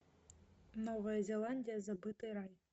новая зеландия забытый рай